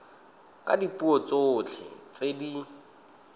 ka dipuo tsotlhe tse di